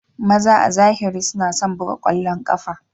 Maza a zahiri suna son buga ƙwallon ƙafa.